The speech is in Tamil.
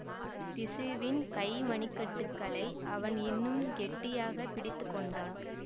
பிக்ஷுவின் கை மணி கட்டுகளை அவன் இன்னும் கெட்டியாக பிடித்து கொண்டான்